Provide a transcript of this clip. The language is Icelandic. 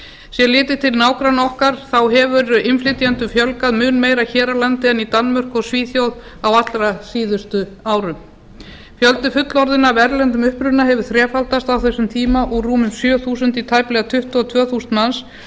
sé litið til nágranna okkar hefur innflytjendum fjölgað mun meir hér á landi en í danmörku og svíþjóð á allra síðustu árum fjöldi fullorðinna af erlendum uppruna hefur þrefaldast á þessum tíma úr rúmum sjö þúsund í tæplega tuttugu og tvö þúsund manns